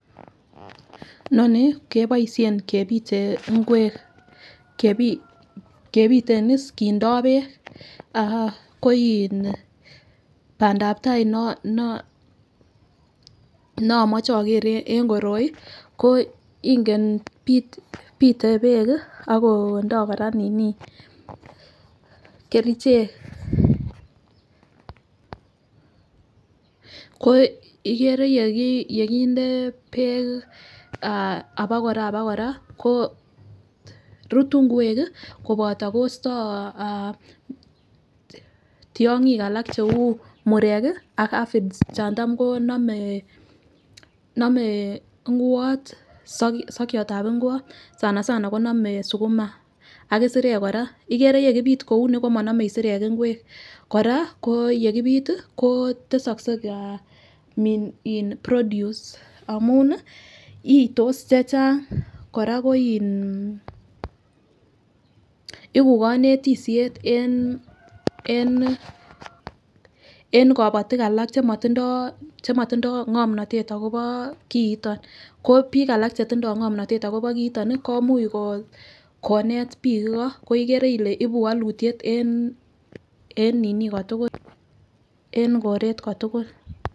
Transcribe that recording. Noni keboishen kepite ingwek kepit kepiten iss kindo beek ko in pandap tai nebo neomoche oker en koroi ko ingen pite beek kii ako ndo Koraa nini kerichek ko ikere yekinde beek ah abakora abakora korutu ngwek kii kopoto kosto ah tyongik alak cheu murek kii ak aphids chon tam konome nomee ingwot soke sokyotab igwot sana sana konomee sukuma ak isirek Koraa ikere yekipit komonome isirek ingwek. Koraa ko yekipit tii ko tesokse ha min produce amun nii itos chechang Koraa ko iin iku konetishet en kopotik alak chemotindo chemotindo ngomnotet akobo kiton ko bik alak chetindo ngomnotet akobo kiiton nii komuch konet bik iko ko ikere Ile ibu wolutyet en nini kotukul en koret kotukul.